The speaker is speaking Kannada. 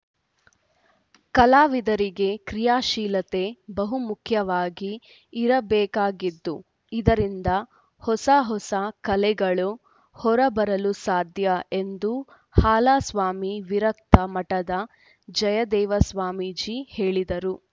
ಕಲಾವಿದರಿಗೆ ಕ್ರಿಯಾಶೀಲತೆ ಬಹುಮುಖ್ಯವಾಗಿ ಇರಬೇಕಾಗಿದ್ದು ಇದರಿಂದ ಹೊಸಹೊಸ ಕಲೆಗಳು ಹೊರ ಬರಲು ಸಾಧ್ಯ ಎಂದು ಹಾಲಸ್ವಾಮಿ ವಿರಕ್ತ ಮಠದ ಜಯದೇವ ಸ್ವಾಮೀಜಿ ಹೇಳಿದರು